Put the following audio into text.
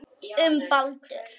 Um Baldur.